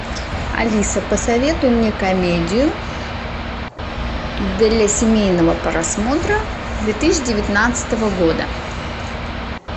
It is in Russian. алиса посоветуй мне комедию для семейного просмотра две тысячи девятнадцатого года